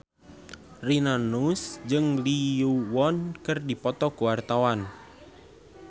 Rina Nose jeung Lee Yo Won keur dipoto ku wartawan